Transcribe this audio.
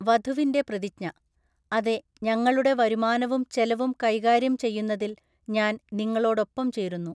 വധുവിന്റെ പ്രതിജ്ഞഃ അതെ, ഞങ്ങളുടെ വരുമാനവും ചെലവും കൈകാര്യം ചെയ്യുന്നതിൽ ഞാൻ നിങ്ങളോടൊപ്പം ചേരുന്നു.